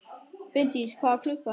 Finndís, hvað er klukkan?